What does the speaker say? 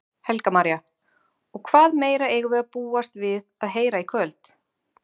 Helga María: Og hvað meira eigum við að búast við að heyra í kvöld?